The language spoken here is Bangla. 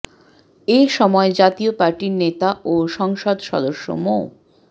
এ সময় জাতীয় পার্টির নেতা ও সংসদ সদস্য মো